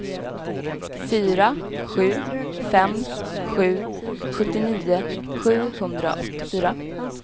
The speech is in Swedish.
fyra sju fem sju sjuttionio sjuhundraåttiofyra